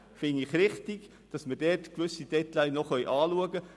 Ich halte es für richtig, dass wir dort gewisse Details noch anschauen können.